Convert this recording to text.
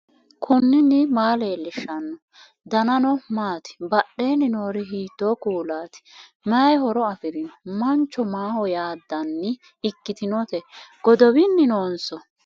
knuni maa leellishanno ? danano maati ? badheenni noori hiitto kuulaati ? mayi horo afirino ? mancho maaho yaaddanni ikkitinote godowinni noonso